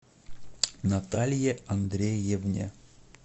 наталье андреевне